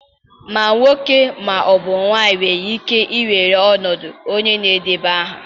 Ma nwoke ma ọ bụ nwanyị nwere ike iwere ọnọdụ onye na-edeba aha.